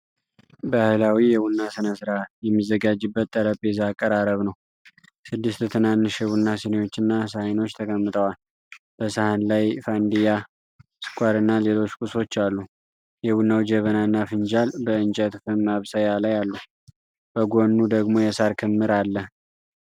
ባህላዊ የቡና ሥነ ሥርዓት የሚዘጋጅበት ጠረጴዛ አቀራረብ ነው። ስድስት ትናንሽ የቡና ስኒዎችና ሳህኖች ተቀምጠዋል። በሰሃን ላይ ፋንዲያ፣ ስኳርና ሌሎች ቁሶች አሉ። የቡናው ጀበናና ፍንጃል በእንጨት ፍም ማብሰያ ላይ አሉ። በጎኑ ደግሞ የሣር ክምር አለ።